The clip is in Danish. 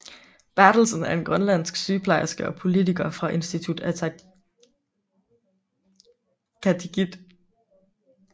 Berthelsen er en grønlandsk sygeplejerske og politiker fra Inuit Ataqatigiit